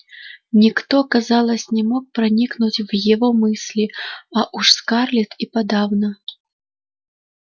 никто казалось не мог проникнуть в его мысли а уж скарлетт и подавно